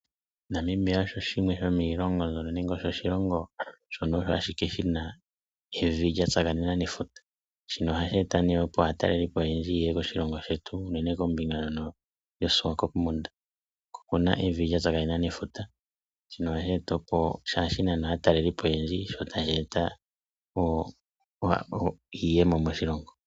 Namibia osho shimwe shomiilongo mbyono nenge osho oshilongo shono osho ashike shina evi lya tsakanena nefuta shino ohashi eta opo aatalelipo oyendji ye ye koshilongo shetu unene kombinga ndyono yoSwakopmund, oko kuna evi lya tsakanena nefuta ohali nana aatalelipo oyendji sho tashi eta iiyemo moshilongo.